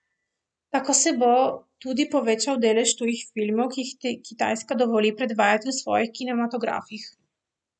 Tako se bo tudi povečal delež tujih filmov, ki jih Kitajska dovoli predvajati v svojih kinematografih.